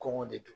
Kɔngɔ de don